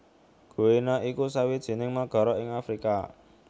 Guinea iku sawijining nagara ing Afrika